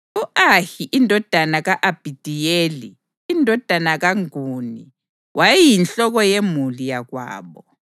U-Ahi indodana ka-Abhidiyeli, indodana kaGuni, wayeyinhloko yemuli yakwabo.